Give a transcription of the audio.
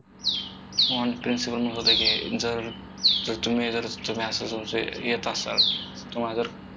आम्हाला principal म्हणत होता की जर जर तुम्ही जर तुम्ही असं तुमचं येत असाल तुम्हाला जर